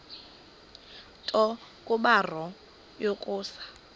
nto kubarrow yokusa